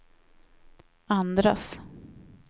andras